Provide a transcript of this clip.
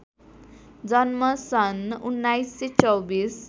जन्म सन् १९२४